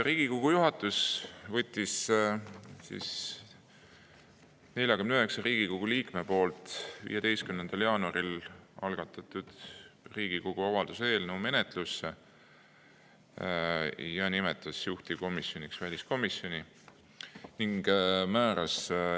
Riigikogu juhatus võttis 49 Riigikogu liikme poolt 15. jaanuaril algatatud Riigikogu avalduse eelnõu menetlusse ja nimetas juhtivkomisjoniks väliskomisjoni.